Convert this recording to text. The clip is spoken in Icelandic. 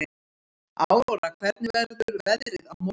Áróra, hvernig verður veðrið á morgun?